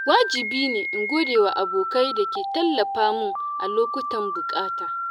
wajibine in godewa abokai da ke tallafa min a lokutan buƙata.